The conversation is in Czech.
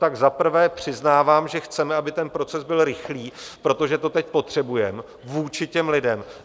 Tak zaprvé přiznávám, že chceme, aby ten proces byl rychlý, protože to teď potřebujeme vůči těm lidem.